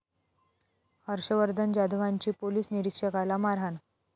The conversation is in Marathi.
हर्षवर्धन जाधवांची पोलीस निरीक्षकाला मारहाण